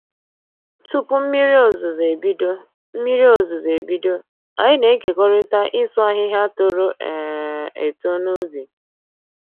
Tupu mmiri ozuzu ebido, mmiri ozuzu ebido, anyị na-ekerikọta ịsụ ahịhịa toro um eto n'ubi